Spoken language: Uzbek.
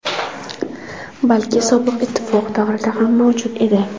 balki Sobiq ittifoq davrida ham mavjud edi.